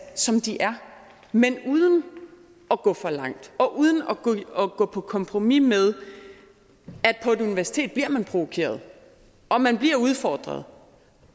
som de er men uden at gå for langt og uden at gå på kompromis med at universitet bliver man provokeret man bliver udfordret